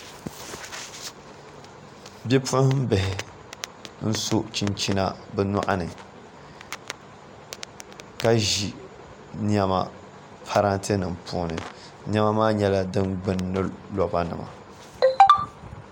Bipuɣunbihi n so chinchina bi nyoɣani ka ʒi niɛma parantɛ nim puuni niɛma maa nyɛla din gbuni gbuni roba nima